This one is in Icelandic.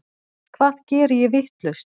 Hvað geri ég vitlaust?